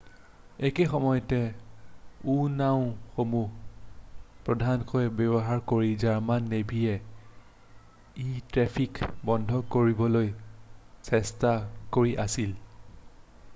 একেই সময়তে u-নাওঁসমূহ প্ৰধানকৈ ব্যৱহাৰ কৰি জাৰ্মান নেভীয়ে এই ট্ৰেফিকক বন্ধ কৰিবলৈ চেষ্টা কৰি আছিল৷